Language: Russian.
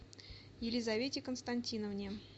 елизавете константиновне